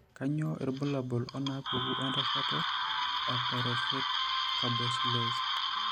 Kainyio irbulabul onaapuku entasato ePyruvate carboxylase?